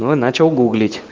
но начал гуглить